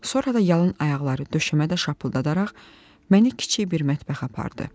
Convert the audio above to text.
Sonra da yalan ayaqları döşəmədə şapıldadaraq məni kiçik bir mətbəxə apardı.